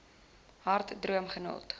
hard droom groot